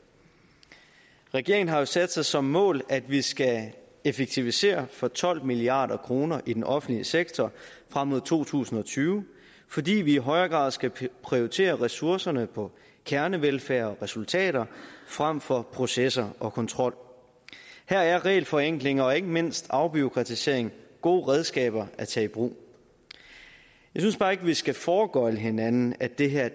regeringen har jo sat sig som mål at vi skal effektivisere for tolv milliard kroner i den offentlige sektor frem mod to tusind og tyve fordi vi i højere grad skal prioritere ressourcerne på kernevelfærd og resultater frem for processer og kontrol her er regelforenklinger og ikke mindst afbureaukratisering gode redskaber at tage i brug jeg synes bare ikke at vi skal foregøgle hinanden at det her